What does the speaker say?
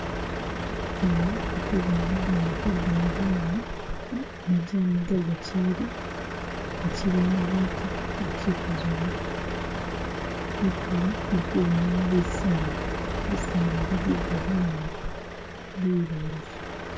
Eno indi kuboona mugunda gwe ga majani, majani ga gachili gachili magake gachikuzowa kutulo ndikubonayo bisaala, bisaala bi bigali naabi bileyi